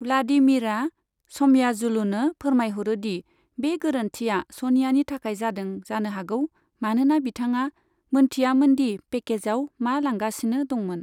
व्लादिमीरआ स'मयाजुलुनो फोरमायहरो दि बे गोरोन्थिया सनियानि थाखाय जादों जानो हागौ मानोना बिथाङा मोनथियामोनदि पेकेजाव मा लांगासिनो दंमोन।